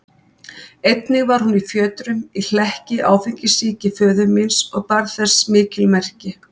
Einnig hún var fjötruð í hlekki áfengissýki föður míns og bar þess mikil merki.